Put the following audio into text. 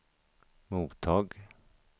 mottag